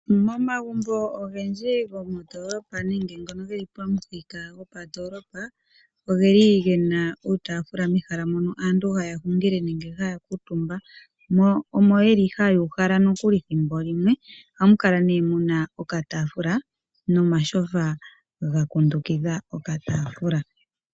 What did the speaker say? Momagumbo ogendji gomondoolopa nenge ngono ge li pamuthika gopandoolopa, oge na uutaafula mehala mono aantu haya hungile nenge haya kuutumba. Moka haya uhala nokuli thimbo limwe ohamu kala mu na okataafula nomatyofa ga kundukidha okataafula.